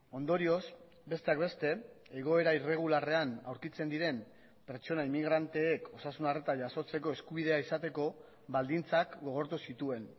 ondorioz besteak beste egoera irregularrean aurkitzen diren pertsona inmigranteek osasun arreta jasotzeko eskubidea izateko baldintzak gogortu zituen